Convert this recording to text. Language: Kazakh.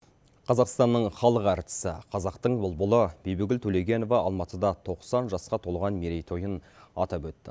қазақстанның халық әртісі қазақтың бұлбұлы бибігүл төлегенова алматыда тоқсан жасқа толған мерейтойын атап өтті